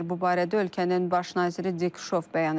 Bu barədə ölkənin baş naziri Dik Şof bəyan edib.